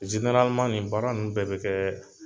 zeneraleman nin baara ninnu bɛɛ be kɛ